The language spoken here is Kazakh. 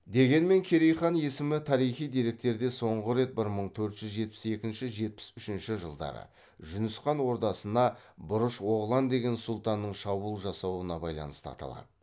дегенмен керей хан есімі тарихи деректерде соңғы рет бір мың төрт жүз жетпіс екінші жетпіс үшінші жылдары жүніс хан ордасына бұрыш оғлан деген сұлтанның шабуыл жасауына байланысты аталады